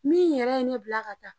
Min yɛrɛ ye ne bila ka taa